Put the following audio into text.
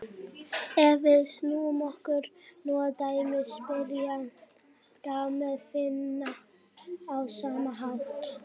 Ef við snúum okkur nú að dæmi spyrjanda má finna á sama hátt: